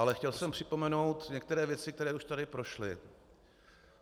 Ale chtěl jsem připomenout některé věci, které už tady prošly.